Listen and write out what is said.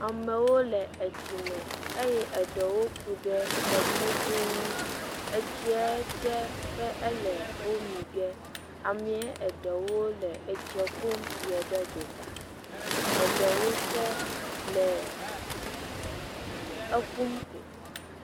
Amewo le etsi me eye eɖewo ku ɖe tɔdziŋu ŋu, etsie dze be ele wo mi ge, amee eɖewo le etsie ƒum yie ɖe egota, eɖewɔ tse le eƒum ko.